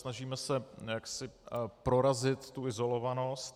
Snažíme se jaksi prorazit tu izolovanost.